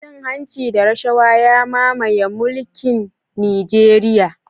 Cin hanci da rashawa ya mamaye mulkin Nijeriya